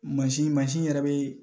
Mansin mansin yɛrɛ bɛ